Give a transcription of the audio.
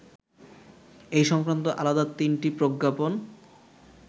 এ সংক্রান্ত আলাদা তিনটি প্রজ্ঞাপন